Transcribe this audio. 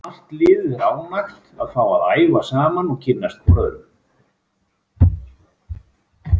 Allt liðið er ánægt að fá að æfa saman og kynnast hvorum öðrum.